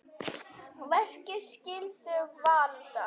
Verki skyldu valda